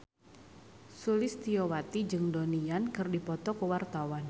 Sulistyowati jeung Donnie Yan keur dipoto ku wartawan